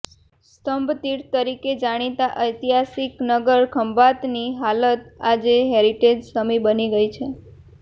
સ્તંભતિર્થ તરીકે જાણીતા ઐતિહાસિક નગર ખંભાતની હાલત આજે હેરીટેજ સમી બની ગઇ છે